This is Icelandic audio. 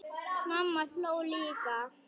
Mamma hló líka.